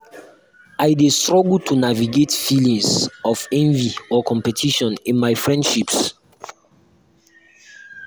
i dey struggle to navigate feelings of envy or competition in my friendships.